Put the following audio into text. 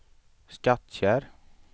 Skattkärr